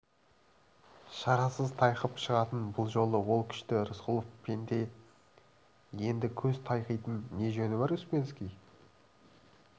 шарасыз тайқып шығатын бұл жолы ол күшті рысқұлов пенде енді көз тайқитын не жөні бар успенский